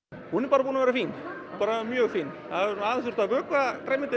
hún er bara búin að vera fín bara mjög fín það hefur þurft að vökva grænmetið